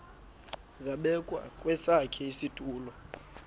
zabekwa kwesakhe isitulo